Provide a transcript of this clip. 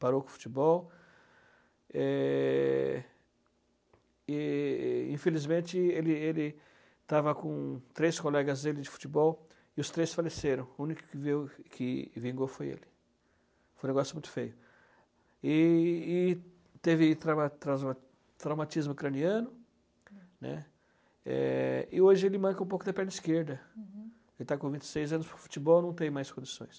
parou com o futebol é, e e infelizmente ele ele estava com três colegas dele de futebol e os três faleceram o único que veio que vingou foi ele foi um negócio muito feio e e e teve trauma trauma traumatismo craniano né, e hoje ele manca um pouco da perna esquerda ele está com vinte e seis anos futebol não tem mais condições